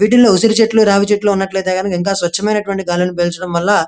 వీటిలో ఉసిరి చెట్లు రావి చెట్లు ఉన్నట్లయితే చాలా స్వచ్చమైనటువంటి గాలిని బారించడం వల్ల --